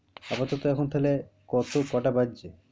আপাতত এখন তাহলে কত কটা বাজছে?